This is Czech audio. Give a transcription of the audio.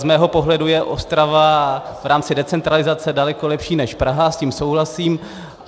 Z mého pohledu je Ostrava v rámci decentralizace daleko lepší než Praha, s tím souhlasím.